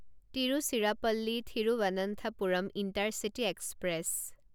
Tiruchirappalli Thiruvananthapuram intercity express